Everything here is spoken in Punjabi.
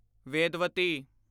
ਵੇਦਵਤੀ